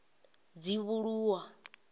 dzivhuluwa